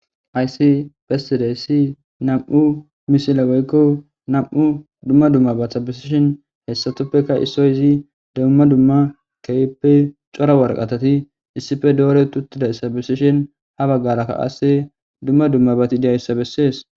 Hays besidays 2 misile woyko dumma dummabata besishn istapeka isoz kehipe cora waraqatat issippe doret utidaysa besishn ha bagaraka qase duma dummabat dizaysa beses.